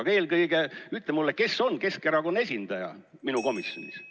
Aga eelkõige ütle mulle, kes on Keskerakonna esindaja minu komisjonis.